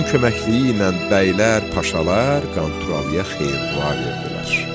Allahın köməkliyi ilə bəylər, paşalar Qanturalıya xeyir dua verdilər.